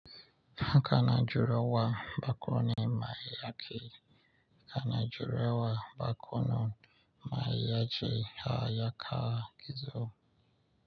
Haka na jurewa bakono maiyaki. Haka na jurewa bakono maiyaki, ya yakawa gizo.